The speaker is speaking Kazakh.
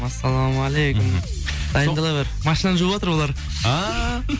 ассаламағалейкум мхм дайындала бер машинаны жуыватыр олар ааа